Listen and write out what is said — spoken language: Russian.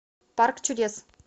парк чудес